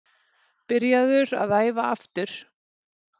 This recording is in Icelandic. Byrjaður að æfa aftur.